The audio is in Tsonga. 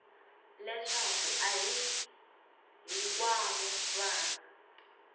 leswaku a hi hinkwavo vana